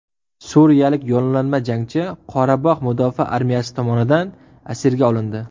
Suriyalik yollanma jangchi Qorabog‘ mudofaa armiyasi tomonidan asirga olindi.